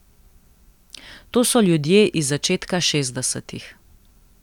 To so ljudje iz začetka šestdesetih.